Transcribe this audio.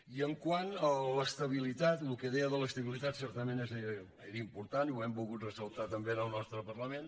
i quant a l’estabilitat el que deia de l’estabilitat certament és important i ho hem volgut ressaltar també en el nostre parlament